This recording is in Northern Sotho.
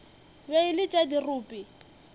be e le tša dirope